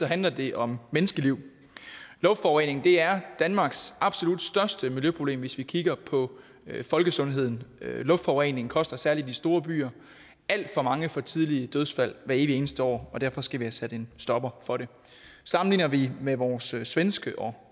handler det om menneskeliv luftforurening er danmarks absolut største miljøproblem hvis vi kigger på folkesundheden luftforurening koster særlig i de store byer alt for mange for tidlige dødsfald hvert evig eneste år og derfor skal vi have sat en stopper for det sammenligner vi med vores svenske og